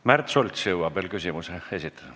Märt Sults jõuab veel küsimuse esitada.